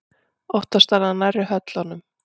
Oftast var það nærri höllunum.